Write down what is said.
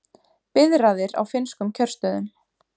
Biðraðir á finnskum kjörstöðum